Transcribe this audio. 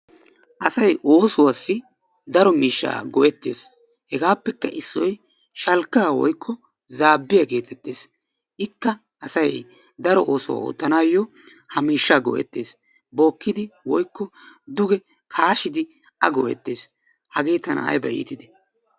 Asay oossuwaasi daro miishshaa go"ettees. Hegaapekka issoy shalkkaa woykko zaabbiyaa geteettees. Ikka asay daro oosuwaa oottanawu ha miishshaa go"ettees. Bookkidi woykko duge kaashshidi a go"ettees. hagee tana ayba iittidee!